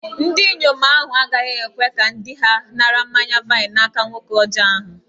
Ndinyom ahu agaghi-ekwe ka di-ha nara mmanya-vaịn n'aka nwoke ọjọ ahu